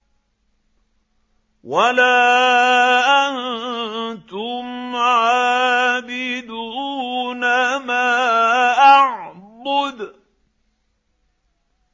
وَلَا أَنتُمْ عَابِدُونَ مَا أَعْبُدُ